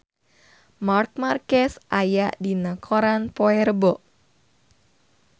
Marc Marquez aya dina koran poe Rebo